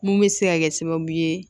Mun bɛ se ka kɛ sababu ye